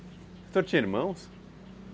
O senhor tinha irmãos?